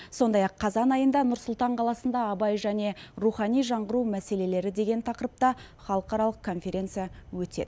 сондай ақ қазан айында нұр сұлтан қаласында абай және рухани жаңғыру мәселелері деген тақырыпта халықаралық конференция өтеді